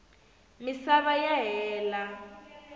misava ya hela